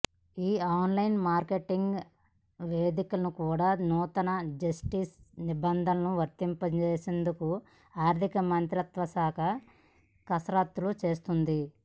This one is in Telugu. ఈ ఆన్లైన్ మార్కెట్వేదికలకు కూడా నూతన జిఎస్టి నిబంధనలు వర్తింపచేసేందుకు ఆర్థిక మంత్రిత్వశాఖ కసరత్తులు చేస్తోంది